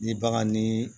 Ni bagan ni